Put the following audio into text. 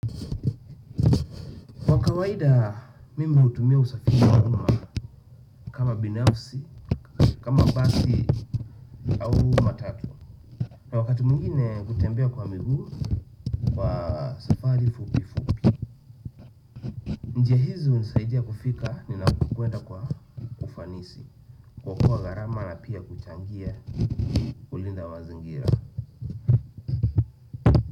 Kwa kawaida mimi hutumia usafiri wa kama binafsi, kama basi au matatu. Na wakati mwingine hutembea kwa miguu kwa safari fupifupi. Njia hizo hunisaidia kufika ninakokwenda kwa ufanisi. Kuokoa garama na pia kuchangia kulinda mazingira.